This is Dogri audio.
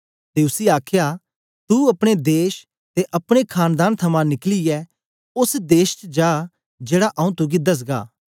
ते उसी आखया तू अपने देश ते अपने खानदान थमां निकलियै ओस देश च जा जेड़ा आंऊँ तुगी दसगा